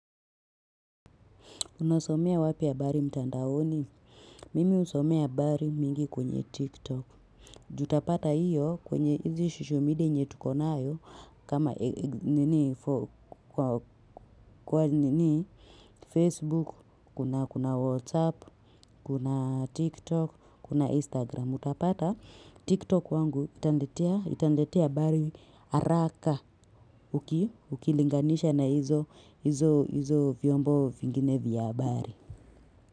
Unosomea wapi habari mtandaoni? Mimi husomea habari mingi kwenye TikTok. Tutapata hiyo kwenye hizi social media yenye tukonayo kama Facebook, kuna WhatsApp, kuna TikTok, kuna Instagram. Mutapata TikTok kwangu itaniletea habari haraka ukilinganisha na hizo vyombo vingine vya habari.